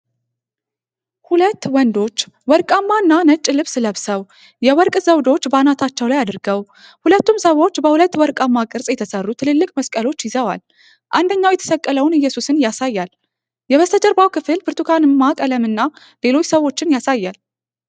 ሁለት ወንዶች ወርቃማ እና ነጭ ልብስ ለብሰው፤ የወርቅ ዘውዶች በአናታቸው ላይ አድርገዋል። ሁለቱም ሰዎች በሁለት ወርቃማ ቅርጽ የተሠሩ ትልልቅ መስቀሎች ይዘዋል፤ አንደኛው የተሰቀለውን ኢየሱስን ያሳያል። የበስተጀርባው ክፍል ብርቱካንማ ቀለም እና ሌሎች ሰዎችን ያሳያል።